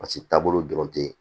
Paseke taabolo dɔrɔn tɛ yen